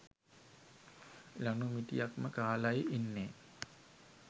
ලනු මිටියක්ම කාලයි ඉන්නේ.